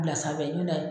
Bila sanfɛ ɲɔ